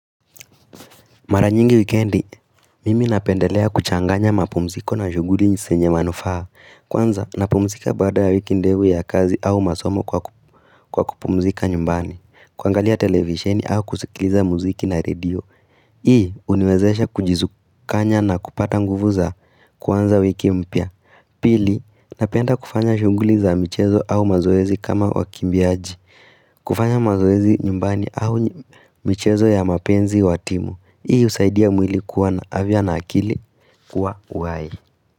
Mara nyingi wikendi, mimi napendelea kuchanganya mapumziko na shughuli zenye manufaa. Kwanza, napumzika baada ya wiki ndefu ya kazi au masomo kwa kupumzika nyumbani. Kuangalia televisheni au kusikiliza muziki na radio. Hii, huniwezesha kujikusanya na kupata nguvu za kwanza wiki mpya. Pili, napenda kufanya shughuli za michezo au mazoezi kama wakimbiaji. Kufanya mazoezi nyumbani au michezo ya mapenzi wa timu. Hii husaidia mwili kuwa na afya na akili kuwa uhai.